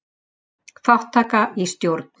Þátttaka í stjórn.